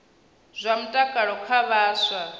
zwa mutakalo kha vhaswa na